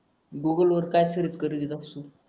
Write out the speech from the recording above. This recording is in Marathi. गुगल वर काय सर्च कर